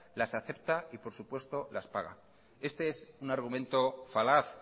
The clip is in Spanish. las acepta y por supuesto las paga este es un argumento falaz